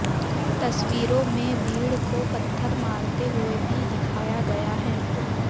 तस्वीरों में भीड़ को पत्थर मारते हुए भी दिखाया गया है